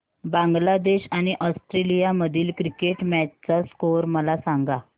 बांगलादेश आणि ऑस्ट्रेलिया मधील cricket match चा स्कोअर मला सांगा